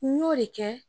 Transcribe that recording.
N y'o de kɛ